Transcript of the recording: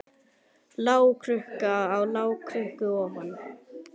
Lágkúra á lágkúru ofan.